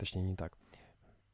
точнее не так